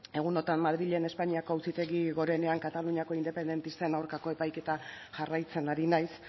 egun hauetan madrilen espainiako auzitegi gorenean kataluniako independentisten aurkako epaiketa jarraitzen ari naiz